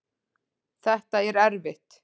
Þetta er erfitt